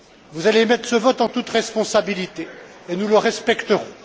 Vous allez émettre ce vote en toute responsabilité et nous le respecterons.